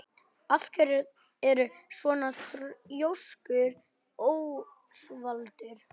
Af hverju ertu svona þrjóskur, Ósvaldur?